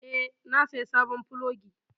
Eh, na saya sabon plogi.